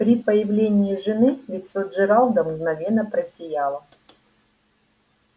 при появлении жены лицо джералда мгновенно просияло